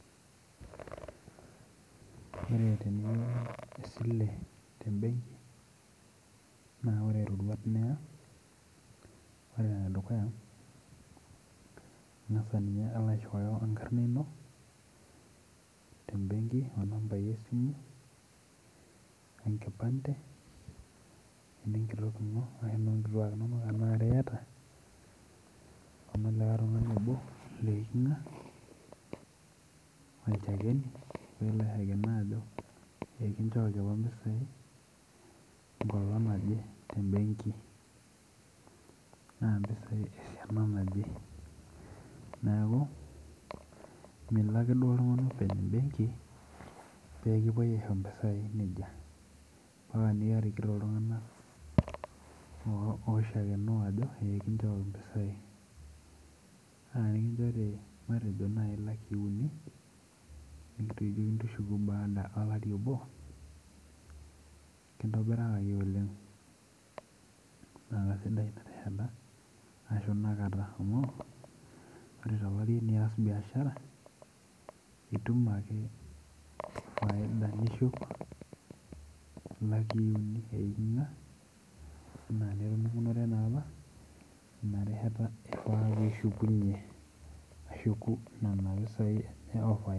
Ore teniya esile tembenki naah ore irroruat niya, ore enedukuya ing'asa ninye alo aishooyo enkarna ino tembenki onambai esimu, enkipande enenkitok ino arashu inoonkitua inono tenaa are iyata onolikikae tung'ani obo leiking'a olchakeni peelo aishakeeno ajo eikinchooki apa impisai enkolong' naje tembenki naah impisai esiana naje neeku milo ake duo oltung'ani openy' embenki peekipuoi aisho impisai nejia ampaka nirikito iltung'anak oishakenoo ajo kinchooki impisai naa tenikinchore marejo naai ilakii uni, nekijokini tushuku baada olari obo, kintobirakaki oleng naa kesidai inarishata ashuu ina kata amuu ore tolari tenias biashara itum ake faida nishuk ilakii uni eiking'a, enaa enintoomonore naapa inarishata ifaa piishukunye ashuku nena pisaai iyawa faida